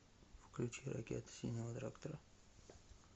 включи ракета синего трактора